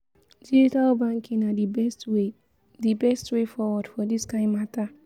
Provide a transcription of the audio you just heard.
digital banking na di best way di best way forward for dis kain mata